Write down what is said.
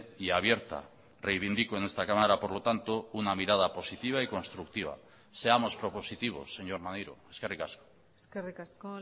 y abierta reivindico en esta cámara por lo tanto una mirada positiva y constructiva seamos propositivos señor maneiro eskerrik asko eskerrik asko